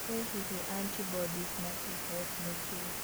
ĩ hihi Antibodies na T-cells nĩ kĩĩ?